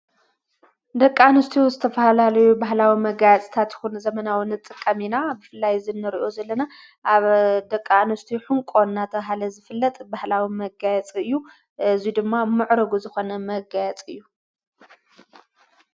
ደቂ እንስቱዩ ዝተፍሃላለዩ በህላዊ ይኪኑ ዘመናዊ መጋየጽታት ንጥቀም ኢና ብፍላይ ድማ እዝ ነርእዩ ዘለና ኣብ ደቃ እንስትዮ ሕንቃወናተ ሓለ ዝፍለጥ በሕላዊ መጋያጽ እዩ እዙይ ድማ ምዕረጉ ዝኾነ መጋያጽ እዩ።